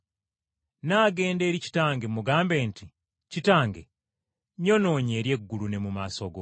Nnaagenda eri kitange, mugambe nti, Kitange, nnyonoonye eri eggulu ne mu maaso go,